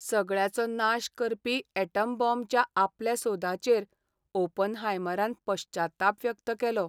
सगळ्याचो नाश करपी अॅटम बाँबच्या आपल्या सोदाचेर ओपनहायमरान पश्चाताप व्यक्त केलो.